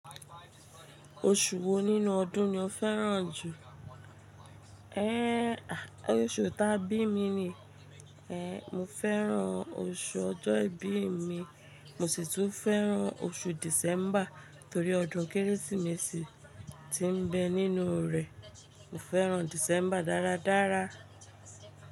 Oṣù wo nínú ọdún ni o fẹ́ràn jù? Ehn, oṣù ta bí mi ni. Mo fẹ́ràn oṣù ọjọ́ ìbí mi, mo sì tún fẹ́ràn oṣù December torí ọdún Kérésìmesì tí ń bẹ nínú rẹ̀. Mo fẹ́ràn December dáradára.